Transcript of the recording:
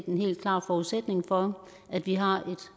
en helt klar forudsætning for at vi har et